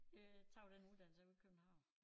Øh tog den uddannelse ovre i København